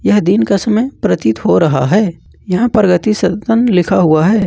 यह दिन का समय प्रतीत हो रहा है यहां प्रगति सनतन लिखा हुआ है।